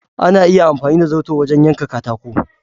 Ana iya amfani da zarto wajen yanka katako.